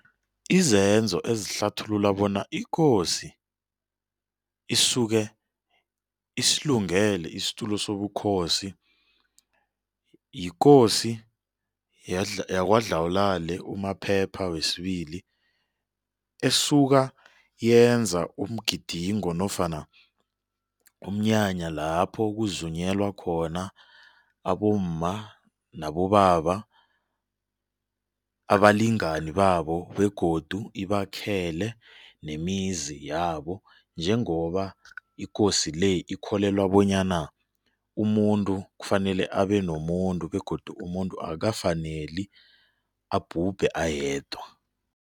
Izenzo ezihlathulula bona ikosi isuke isilungele isitulo sobukhosi, yikosi yaKwaDlawulale uMaphepha wesibili esuka yenza umgidingo nofana umnyanya lapho kuzunyelwa khona abomma nabobaba abalingani babo begodu ibakhele nemizi yabo njengoba ikosi le ikholelwa bonyana umuntu kufanele abe nomuntu begodu umuntu akukafaneli abhubhe ayedwa.